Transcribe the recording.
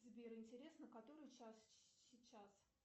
сбер интересно который час сейчас